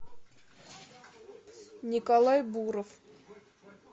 николай буров